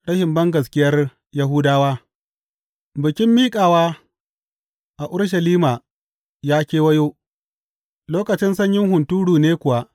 Rashin bangaskiyar Yahudawa Bikin Miƙawa a Urushalima ya kewayo, lokacin sanyin hunturu ne kuwa.